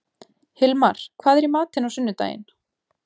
Hilmar, hvað er í matinn á sunnudaginn?